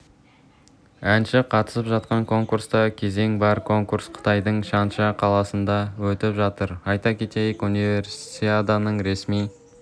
әнші қатысып жатқан конкурста кезең бар конкурс қытайдың чанша қаласында өтіп жатыр айта кетейік универсиаданың ресми